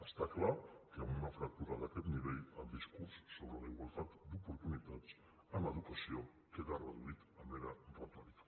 està clar que amb una fractura d’aquest nivell el discurs sobre la igualtat d’oportunitats en educació queda reduït a mera retòrica